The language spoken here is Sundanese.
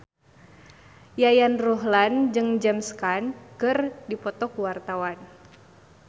Yayan Ruhlan jeung James Caan keur dipoto ku wartawan